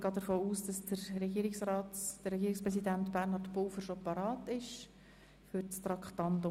Ich gehe davon aus, Herr Regierungspräsident Bernhard Pulver sei schon hier?